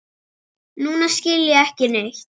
Nú skil ég þig ekki.